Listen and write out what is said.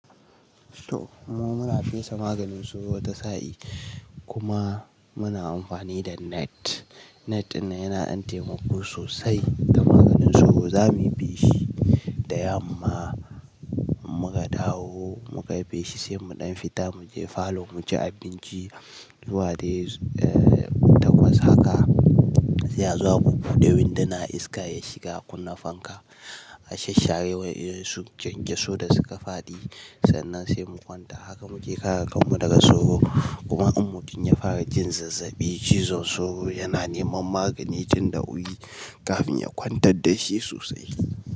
To muma muna fesa maganin sauro wata sa'i kuma muna amfani da net. Net ɗinnan yana ɗan taimako sosai da maganin sauro. Za mu bi shi da yamma muka dawo muka yi feshi sai mu ɗan fita mu je falo mu ci abinci zuwa dai takwas haka sai a zo a bubbude windana iska ya shiga kunna fanka. A shasshare wa ƴan su kyankyaso da suka faɗi sannan sai mu kwanta. Haka muke kare kanmu daga sauro kuma in mun kin iya fara jin zazzaɓi cizon sauro yana neman magani tun da wuri kafin ya kwantar da shi sosai.